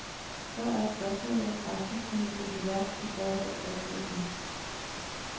Så er spørgsmålet, hvor drastisk hun vil gå til værks i forhold til oplæggene.